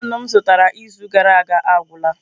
Penu m zụtara izu gara aga agwụla.